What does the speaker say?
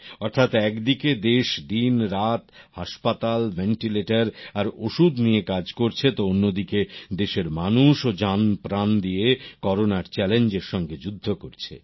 অর্থাৎ এক দিকে দেশ দিনরাত হাসপাতাল ভেন্টিলেটর আর ওষুধ নিয়ে কাজ করছে তো অন্য দিকে দেশের মানুষ ও জান প্রাণ দিয়ে করোনার চ্যালেঞ্জের সঙ্গে যুদ্ধ করছে